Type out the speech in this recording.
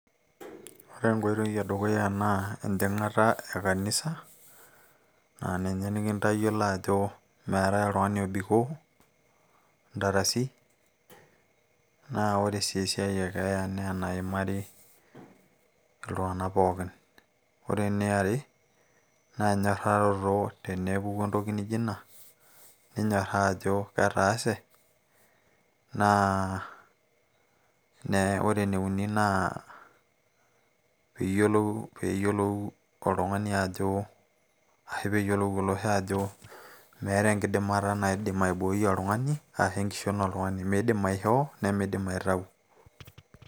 ore enkoitoi e dukuya naa enjing'ata e kanisa aa ninye nikintayiolo ajo meetay oltung'ani obikoo ntarasi naa ore sii esiai e keeya naa enaimari iltung'anak pookin ore ene are naa enyorraroto tenepuku entoki nijio ina ninyorraa ajo ketaase nee ore ene uni naa peyiolou oltung'ani ajo asahu peeyiolou olosho ajo meeta enkidimata naidim aiboi oltung'ani ashu enkishon oltung'ani miidim aishoo nimiidim aitau.